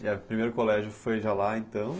E o primeiro colégio foi já lá, então?